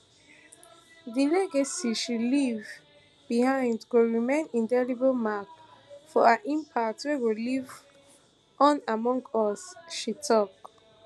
di legacy she leave behind go remain indelible mark of her impact wey go live on among us she tok